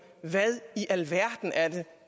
hvad i alverden er det